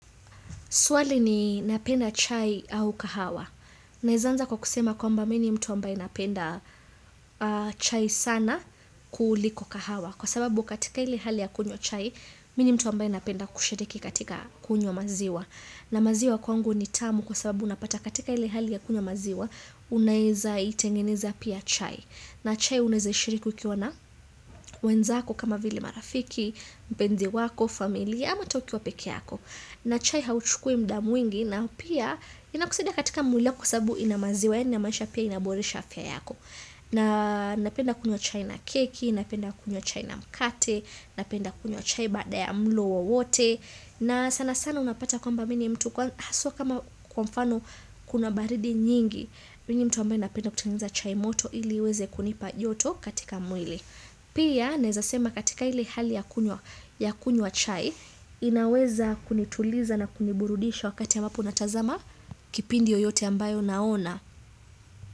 Swali ni napenda chai au kahawa. Naeanza kwa kusema kwa mba mini mtu wambai napenda chai sana kuuliko kahawa. Kwa sababu katika ili hali ya kunywa chai, mini mtu ambae napenda kushriki katika kunywa maziwa. Na maziwa kwangu ni tamu kwa sababu unapata katika ili hali ya kunywa maziwa, unaeza itengeneza pia chai. Na chai uneze shiriki ikiwana, wenzako kama vili marafiki, mpenzi wako, familia, ama ata ukiwa peke yako. Na chai hauchukui mda mwingi na pia inakusidia katika mwili kusabu inamaziwa ya ina maisha pia inaborisha afya yako. Na napenda kunywa chai na keki, napenda kunyo chai na mkate, napenda kunywa chai baada ya mlo wowote na sana sana unapata kwamba mini mtu kwa haswa kama kwamfano kuna baridi nyingi. Mini mtu ambae napenda kutengeneza chai moto ili weze kunipa joto katika mwili Pia nezasema katika ili hali ya kunywa chai, inaweza kunituliza na kuniburudisha wakati ambapo natazama kipindi yoyote ambayo naona.